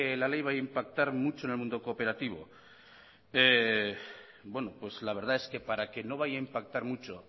la ley vaya a impactar mucho en el mundo cooperativo bueno la verdad es que para que no vaya a impactar mucho